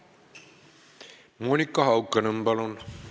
Monika Haukanõmm, palun!